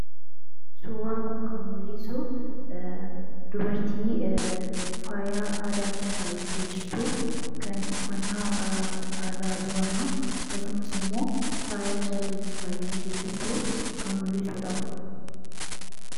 Suuraan kun kan mul'isu dubartii faaya aadaatiin faayamtee jirtu kan uffannaa aadaa Booranaa akkasumas immoo faaya calleetiin faayamtee jirtu kan mul'isu dha.